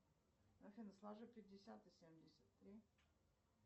афина сложи пятьдесят и семьдесят три